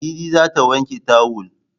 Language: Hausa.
Ladidi za ta wanke tawul